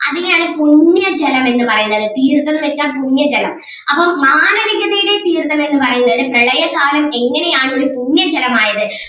അതിനെ ആണ് പുണ്യ ജലം എന്ന് പറയുന്നത് തീർത്ഥം എന്ന് വെച്ച പുണ്യ ജലം അപ്പം മാനവികതയുടെ തീർത്ഥം എന്ന് പറയുന്നത് പ്രളയ കാലം എങ്ങനെ ആണ് ഒരു പുണ്യ ജലമായത്